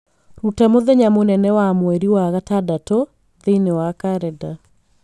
Rũta mũthenya mũnene wa mweri wa gatandatũ thĩiniĩ wa karenda